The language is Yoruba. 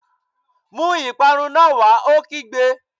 Mú ìparun náà wá! Ó kígbe